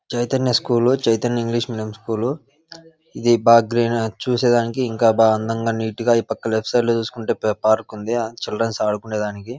Chaitanya school Chaitanya English medium school ఇది బా గ్ర చూసేదానికి ఇంకా బాగ అందంగా నీటుగా ఈ పక్క లెఫ్ట్ సైడ్ లో చూసుకుంటే ప్ పార్కు ఉంది చిల్డ్రన్స్ ఆడుకునే దానికి.